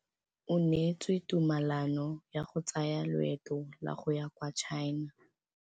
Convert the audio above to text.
O neetswe tumalanô ya go tsaya loetô la go ya kwa China.